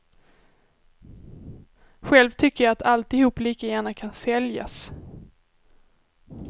Själv tycker jag att alltihop lika gärna kan säljas.